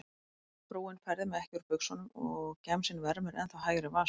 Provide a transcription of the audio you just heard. Frúin færði mig ekki úr buxunum og gemsinn vermir ennþá hægri vasa.